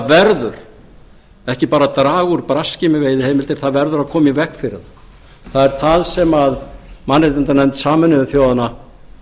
verður ekki bara að að draga úr braski með veiðiheimildir það verður að koma í veg fyrir þær það er það sem mannréttindanefnd sameinuðu þjóðanna